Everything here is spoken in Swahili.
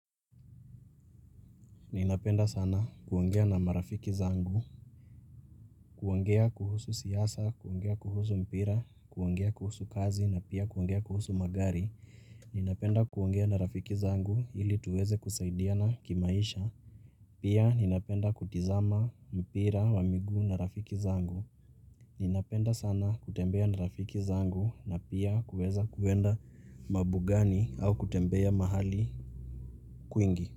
Ninapenda sana kuongea na marafiki zangu kuongea kuhusu siasa, kuongea kuhusu mpira, kuongea kuhusu kazi na pia kuongea kuhusu magari Ninapenda kuongea na rafiki zangu ili tuweze kusaidiana kimaisha Pia ninapenda kutizama mpira wa miguu na rafiki zangu Ninapenda sana kutembea na rafiki zangu na pia kuweza kuenda mabugani au kutembea mahali kwingi.